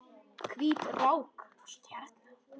Hvít rák og stjarna